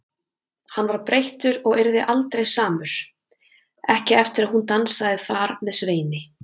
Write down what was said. Hann var breyttur og yrði aldrei samur, ekki eftir að hún dansaði þar með Sveini.